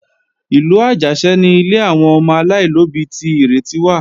Ìlú Àjàṣẹ́ ni ilé àwọn ọmọ aláìlóbí ti Ìrètí wà